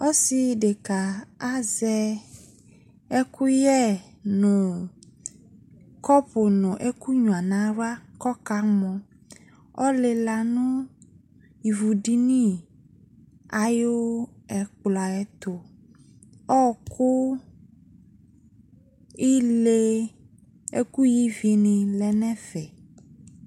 Ɔsɩɖekǝ azɛ ɛƙʋyɛ, ƙɔpʋ nʋ ɛƙʋnƴua nʋ aɣla ƙʋ ɔƙamɔƆlɩla nʋ ivuɖini aƴʋ ɛƙplɔ aƴʋ ɛtʋƆkʋ, ile, ɛƙʋ ƴǝ ivi nɩ lɛ nʋ ɛfɛ